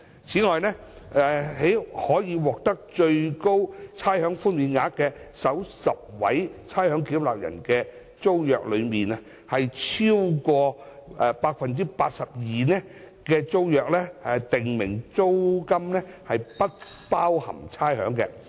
此外，在可獲得最高差餉寬減額的首10位差餉繳納人的租約之中，有超過 82% 的租約訂明租金不包含差餉。